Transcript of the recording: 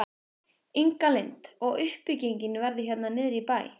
Inga Lind: Og uppbyggingin verður hérna niður í bæ?